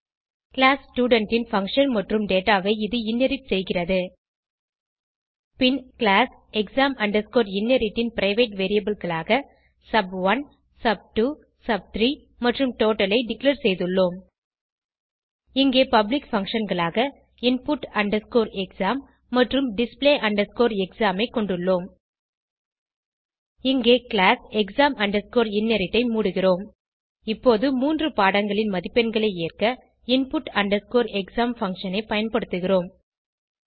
class student ன் function மற்றும் dataஐ இது இன்ஹெரிட் செய்கிறது பின் கிளாஸ் exam inherit ன் பிரைவேட் variableகளாக சப்1 சப்2 சப்3 மற்றும் டோட்டல் ஐ டிக்ளேர் செய்துள்ளோம் இங்கே பப்ளிக் functionகளாக input exam மற்றும் display exam ஐ கொண்டுள்ளோம் இங்கே கிளாஸ் exam inheritஐ மூடுகிறோம் இப்போது மூன்று பாடங்களின் மதிப்பெண்களை ஏறக input exam பங்ஷன் ஐ பயன்படுத்துகிறோம்